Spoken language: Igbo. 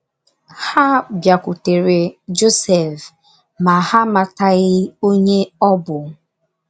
Ha bịakwutere Josef, ma, ha amataghị onye ọ bụ.